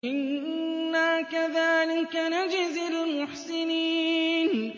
إِنَّا كَذَٰلِكَ نَجْزِي الْمُحْسِنِينَ